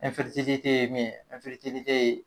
ye min ye